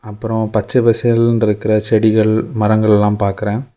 அப்பறம் பச்ச பசேல்னு இருக்கிற செடிகள் மரங்கள் எல்லாம் பாக்குற.